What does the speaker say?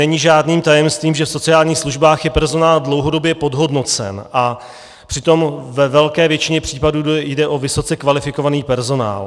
Není žádným tajemstvím, že v sociálních službách je personál dlouhodobě podhodnocen, a přitom ve velké většině případů jde o vysoce kvalifikovaný personál.